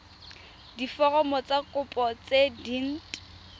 diforomo tsa kopo tse dint